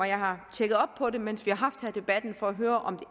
jeg har tjekket op på det mens vi har haft debatten for at høre om